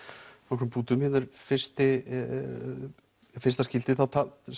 nokkrum punktum hérna er fyrsta fyrsta skiptið þá talar